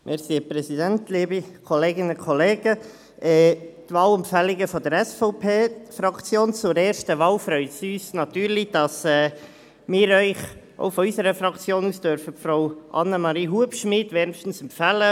Bei den Wahlempfehlungen der SVP-Fraktion zur ersten Wahl freut uns natürlich, dass wir Ihnen auch von unserer Fraktion aus Frau Annemarie Hubschmid wärmstens empfehlen dürfen.